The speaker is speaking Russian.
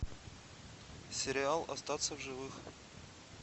сериал остаться в живых